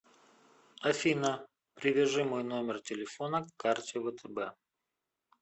афина привяжи мой номер телефона к карте втб